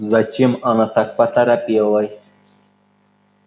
зачем она так поторопилась